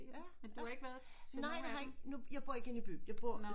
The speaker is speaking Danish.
Men du har ikke været til nogen af dem?